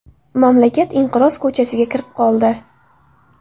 Mamlakat inqiroz ko‘chasiga kirib qoldi.